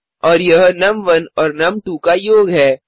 और यह नुम1 और नुम2 का योग है